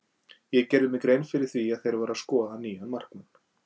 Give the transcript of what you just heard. Ég gerði mér grein fyrir því að þeir væru að skoða nýjan markmann.